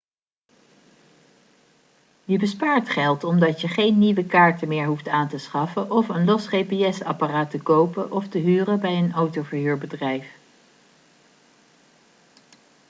je bespaart geld omdat je geen nieuwe kaarten meer hoeft aan te schaffen of een los gps-apparaat te kopen of te huren bij een autoverhuurbedrijf